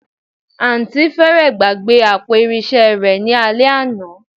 Àǹtí fẹ́rẹ̀ẹ́ gbàgbé àpò irinṣẹ́ rẹ ní alẹ́ àná